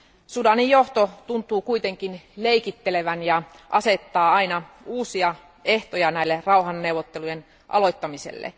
Sudanin johto tuntuu kuitenkin leikittelevän ja asettaa aina uusia ehtoja näille rauhanneuvottelujen aloittamiselle.